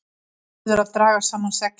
Verður að draga saman seglin